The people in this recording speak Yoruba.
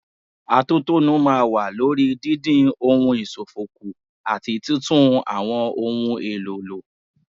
Atótónu máa wà lórí dídín ohun ìṣòfò kù àti títún àwọn ohun èlò lò.